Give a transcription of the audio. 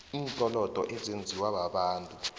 iinkolodo ezenziwa babantu